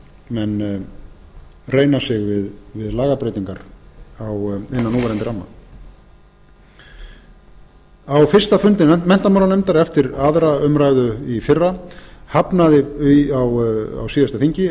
ef menn reyna sig við lagabreytingar innan núverandi ramma á fyrsta fundi menntamálanefndar eftir aðra umræðu á síðasta þingi